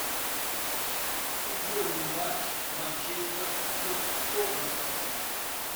футбольный матч манчестер с тоттенхэмом